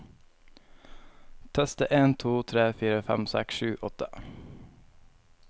Tester en to tre fire fem seks sju åtte